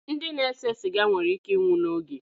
Ndị na-ese siga nwere íké ịnwụ n'oge.